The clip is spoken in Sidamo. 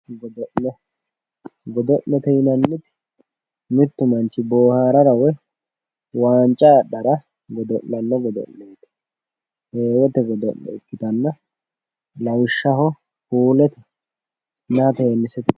godo'le godo'lete yinanniniti mittu manchi boohaarara woyi waanca adhara godo'lanno godo'leeti heewote godo'le ikkitanna lawishshaho puuletenna teennisete godo'leeti.